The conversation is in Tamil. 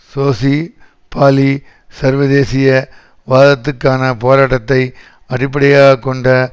சோசி பாலி சர்வதேசிய வாதத்துக்கான போராட்டத்தை அடிப்படையாக கொண்ட